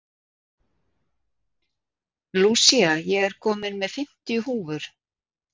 Lúsía, ég kom með fimmtíu húfur!